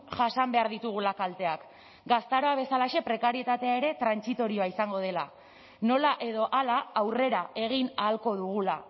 jasan behar ditugula kalteak gaztaroa bezalaxe prekarietatea ere trantsitorioa izango dela nola edo hala aurrera egin ahalko dugula